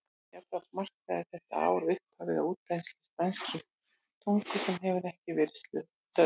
Jafnframt markaði þetta ár upphafið á útbreiðslu spænskrar tungu sem enn hefur ekki verið stöðvuð.